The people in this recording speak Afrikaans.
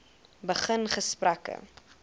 begin gesprekke